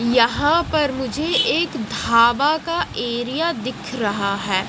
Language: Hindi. यहां पर मुझे एक ढाबा का एरिया दिख रहा हैं।